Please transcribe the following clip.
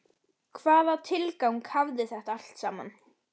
Hvaða tilgang hafði þetta allt saman?